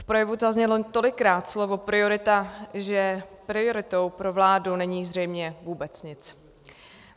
V projevu zaznělo tolikrát slovo priorita, že prioritou pro vládu není zřejmě vůbec nic.